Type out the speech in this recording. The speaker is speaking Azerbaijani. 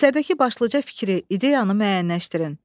Əsərdəki başlıca fikri, ideyanı müəyyənləşdirin.